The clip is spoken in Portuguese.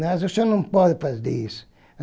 Mas o senhor não pode fazer isso.